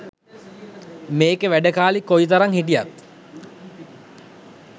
මේකෙ වැඩ කෑලි කොයිතරං හිටියත්